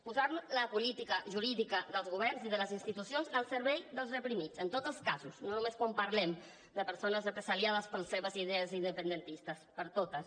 posar la política jurídica dels governs i de les institucions al servei dels reprimits en tots els casos no només quan parlem de persones represaliades per les seves idees independentistes per a totes